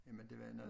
Jamen det var noget